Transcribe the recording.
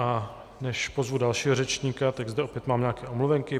A než pozvu dalšího řečníka, tak zde opět mám nějaké omluvenky.